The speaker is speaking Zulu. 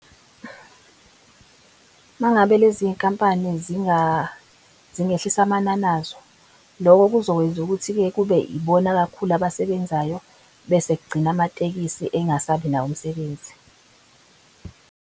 Mangabe lezi nkampani zingehlisa amanani anazo, loko kuzokwenza ukuthi-ke kube ibona kakhulu abasebenzayo bese kugcina amatekisi engasabi nawo umsebenzi.